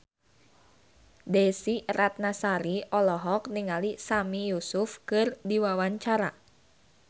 Desy Ratnasari olohok ningali Sami Yusuf keur diwawancara